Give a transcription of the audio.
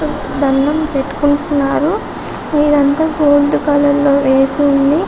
దండం పెట్టుకుంటున్నారు ఇదాంత గోల్డ్ కలర్ లో వేసి ఉంది.